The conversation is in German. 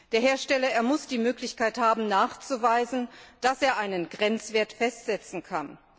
Der Hersteller muss die Möglichkeit haben, nachzuweisen, dass er einen Grenzwert festsetzen kann.